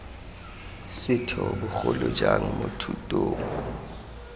setho bogolo jang mo thutong